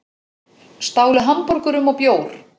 Stálu hamborgurum og bjór